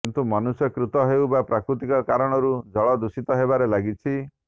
କିନ୍ତୁ ମନୁଷ୍ୟକୃତ ହେଉ ବା ପ୍ରାକୃତିକ କାରଣରୁ ଜଳ ଦୂଷିତ ହେବାରେ ଲାଗିଛି